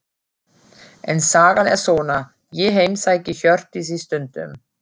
En sagan er svona: Ég heimsæki Hjördísi stundum.